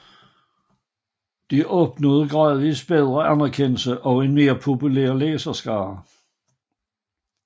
De opnåede gradvist bredere anerkendelse og en mere populær læserskare